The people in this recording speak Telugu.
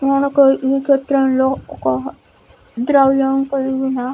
ఈ చిత్రం లో ఒక ద్రవ్యం కలిగిన --